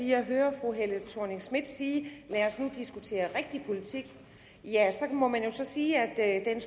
jeg hører fru helle thorning schmidt sige lad os nu diskutere rigtig politik ja så må man jo sige at